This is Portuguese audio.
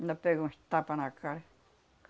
Ainda pegou uns tapa na cara.